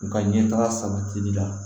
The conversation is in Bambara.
U ka ɲɛtaga sabatili la